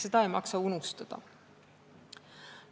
Seda ei maksa unustada.